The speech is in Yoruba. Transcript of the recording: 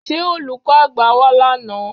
Ṣé Olùkọ́ àgbà wá lánàá?